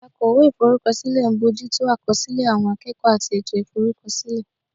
Akọ̀wé Ìforúkọsílẹ̀ ń bójú tó àkọsílẹ̀ àwọn akẹ́kọ̀ọ́ àti ètò ìforúkọsílẹ̀